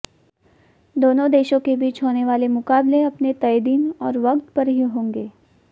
दोनों देशों के बीच होने वाले मुकाबले अपने तय दिन और वक्त पर ही होंगे